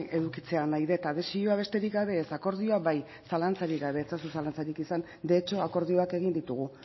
edukitzea nahi det adesioa besterik gabe ez akordioa bai zalantzarik gabe ez ezazu zalantzarik izan de hecho akordioak egin ditugu